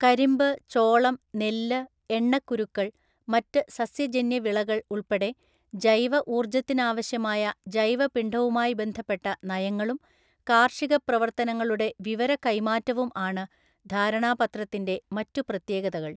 കരിമ്പ്, ചോളം, നെല്ല്, എണ്ണക്കുരുക്കള്‍, മറ്റു സസ്യജന്യ വിളകള്‍ ഉള്‍പ്പടെ ജൈവ ഊർജ്ജത്തിനാവശ്യമായ ജൈവപിണ്ഡവുമായി ബന്ധപ്പെട്ട നയങ്ങളും, കാർഷിക പ്രവർത്തനങ്ങളുടെ വിവര കൈമാറ്റവും ആണ് ധാരണാപത്രത്തിൻ്റെ മറ്റു പ്രത്യേകതകള്‍.